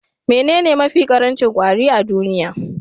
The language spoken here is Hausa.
Menene mafi ƙarancin kwari a duniya?